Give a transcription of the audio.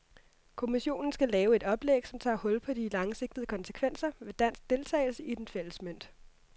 Kommissionen skal lave et oplæg, som tager hul på de langsigtede konsekvenser ved dansk deltagelse i den fælles mønt.